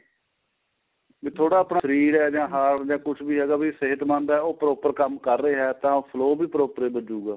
ਵੀ ਥੋੜਾ ਆਪਣਾ ਸ਼ਰੀਰ ਜਾਂ heart ਏ ਕੁੱਝ ਵੀ ਹੈਗਾ ਵੀ ਸਿਹਤਮੰਦ ਏ ਉਹ proper ਕੰਮ ਕਰ ਰਿਹਾ ਏ ਤਾਂ flow ਵੀ proper ਏ ਵੱਜੂਗਾ